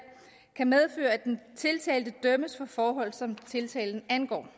kan medføre at den tiltalte dømmes for forhold som tiltalen angår den